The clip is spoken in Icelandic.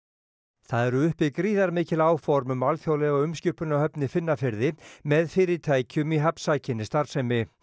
það eru uppi gríðarmikil áform um alþjóðlega umskipunarhöfn í Finnafirði með fyrirtækjum í hafnsækinni starfsemi